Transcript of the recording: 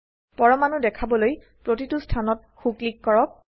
পৰমাণু দেখাবলৈ প্ৰতিটো স্থানত সো ক্লিক কৰক